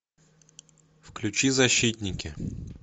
включи защитники